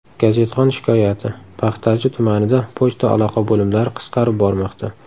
Gazetxon shikoyati: Paxtachi tumanida pochta aloqa bo‘limlari qisqarib bormoqda.